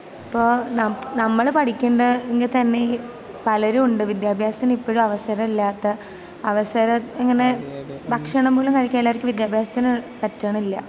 ഇപ്പൊ നമ്മള് പഠിക്കണുണ്ട് എങ്കിൽ തന്നെയും പലരുമുണ്ട് വിദ്യാഭ്യാസത്തിനു ഇപ്പഴും അവസരമില്ലാത്ത, അവസരം ഇങ്ങനെ...ഭക്ഷണം പോലും കഴിക്കാൻ എല്ലാര്ക്കും...വിദ്യാഭ്യാസത്തിന് പറ്റണില്ല.